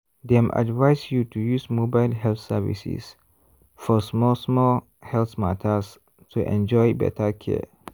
dem advise you to use mobile health services for small-small health matters to enjoy better care.